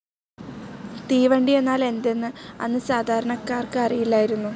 തീവണ്ടി എന്നാൽ എന്തെന്ന് അന്ന് സാധാരണക്കാർക്ക് അറിയില്ലായിരുന്നു.